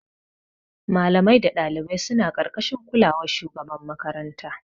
Malamai da ɗalibai suna ƙarƙashin kulawar shugaban makaranta.